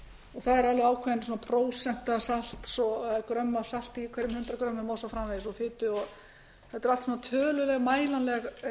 og það er alveg ákveðin prósenta salts grömm af salti í hverjum hundrað grömmum og svo framvegis og fitu þetta eru allt saman tölur